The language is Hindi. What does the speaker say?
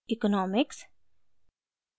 इकॉनॉमिक्स